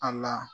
A la